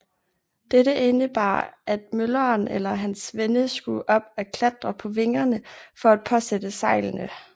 Dette indebar at mølleren eller hans svende skulle op at klatre på vingerne for at påsætte sejlene